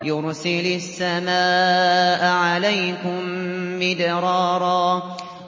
يُرْسِلِ السَّمَاءَ عَلَيْكُم مِّدْرَارًا